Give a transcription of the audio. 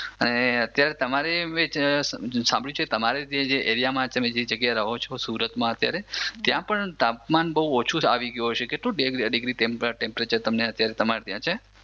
અને અત્યારે તમારે સાંભર્યું છે જે એરિયામાં તમે જે જગ્યાએ રહો છો સુરતમાં અત્યારે ત્યાં પણ તાપમાન બહુ ઓછું આવી ગયું હશે કેટલું ડિગ્રી ટેમ્પરેચર તમારે ત્યાં છે